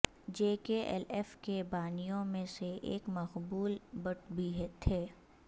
جے K L F کے بانیوں میں سے ایک مقبول بٹ بھی تھے